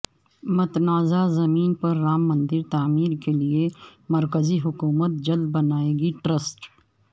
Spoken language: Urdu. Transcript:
متنازعہ زمین پر رام مندر تعمیر کے لیے مرکزی حکومت جلد بنائے گی ٹرسٹ